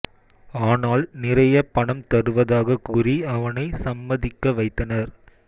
ஆனால் நிறைய பணம் தருவதாக கூறி அவனை சம்மதிக்க வைத்தனர்